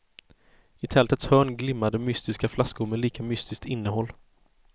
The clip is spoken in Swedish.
I tältets hörn glimmade mystiska flaskor med lika mystiskt innehåll.